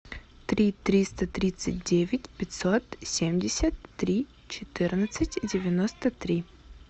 три триста тридцать девять пятьсот семьдесят три четырнадцать девяносто три